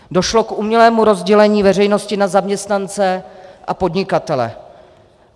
Došlo k umělému rozdělení veřejnosti na zaměstnance a podnikatele.